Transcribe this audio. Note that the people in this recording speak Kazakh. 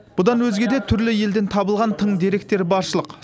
бұдан өзге де түрлі елден табылған тың деректер баршылық